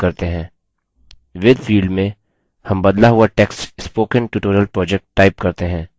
with field में हम बदला हुआ text spoken tutorial project type करते हैं